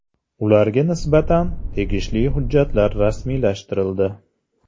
Ularga nisbatan tegishli hujjatlar rasmiylashtirildi.